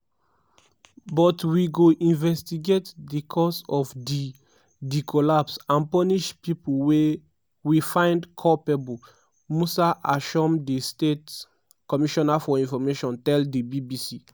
but we go investigate di cause of di di collapse and punish pipo we find culpable" musa ashom di state commissioner for information tell di bbc.